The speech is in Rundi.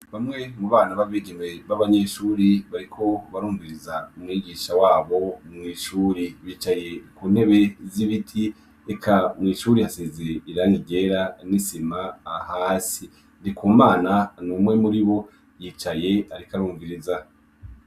Bamwe mu bana babigeme babanyeshuri bariko barumviriza umwigisha wabo mw'ishuri bicaye ku ntebe z'ibiti eka mw'ishuri hasize irangi ryera n'isima hasi ndikumana numwe muribo yicaye ariko arumviriza.